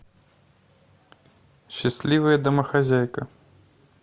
счастливая домохозяйка